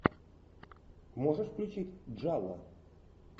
можешь включить джалло